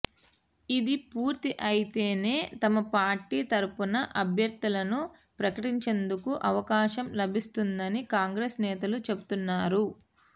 ఇది పూర్తి అయితేనే తమ పార్టీ తరపున అభ్యర్థులను ప్రకటించేందుకు అవకాశం లభిస్తుందని కాంగ్రెస్ నేతలు చెబుతున్నారు